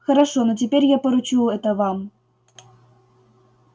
хорошо но теперь я поручу это вам